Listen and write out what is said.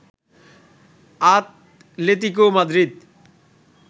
Atletico Madrid